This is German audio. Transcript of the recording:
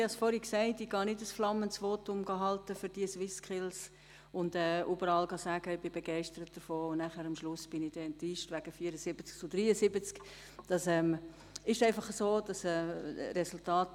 Ich halte selbstverständlich kein flammendes Votum für die SwissSkills und sage überall, ich sei begeistert davon, und schlussendlich bin ich enttäuscht wegen eines Abstimmungsergebnisses von 74 zu 73 Stimmen.